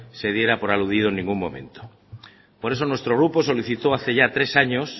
se diera por aludido en ningún momento por eso nuestro grupo solicitó hace ya tres años